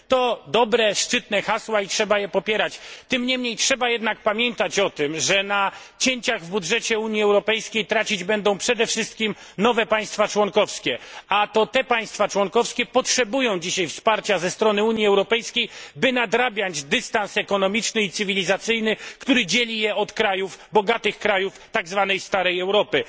To dobre, szczytne hasła i trzeba je popierać, tym niemniej trzeba jednak pamiętać o tym, że na cięciach w budżecie Unii Europejskiej trącić będą przede wszystkim nowe państwa członkowskie, a to te państwa członkowskie potrzebują dzisiaj wsparcia ze strony Unii Europejskiej, by nadrabiać dystans ekonomiczny i cywilizacyjny, który dzieli je od bogatych krajów tak zwanej starej Europy.